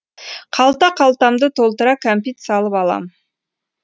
қалта қалтамды толтыра кәмпит салып алам